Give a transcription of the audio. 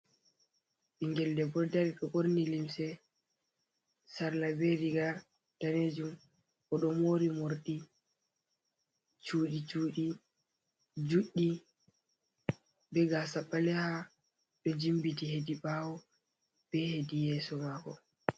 Ɓinngel debbo ɗo dari ɓorni limse sarla be riga daneejum. Oɗo moori morɗi cuuɗi-cuuɗi juɗɗi, be gaasa ɓaleha ɗo jimbiti hedi ɓaawo, be hedi yeeso maako.